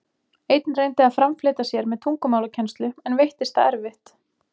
Einn reyndi að framfleyta sér með tungumálakennslu, en veittist það erfitt.